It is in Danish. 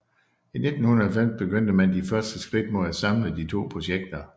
I 1990 begyndte man de første skridt mod at samle de to projekter